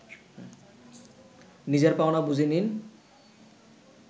নিজের পাওনা বুঝে নিন